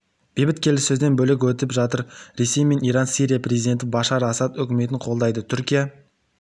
бейбіт келіссөзден бөлек өтіп жатыр ресей мен иран сирия президенті башар асад үкіметін қолдайды түркия